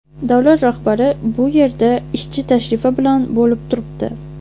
Davlat rahbari bu yerda ishchi tashrifi bilan bo‘lib turibdi.